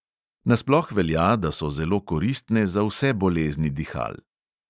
Nasploh velja, da so zelo koristne za vse bolezni dihal.